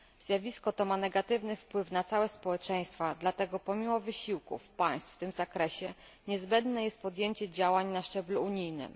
Zjawisko to ma negatywny wpływ na całe społeczeństwa, dlatego pomimo wysiłków państw w tym zakresie, niezbędne jest podjęcie działań na szczeblu unijnym.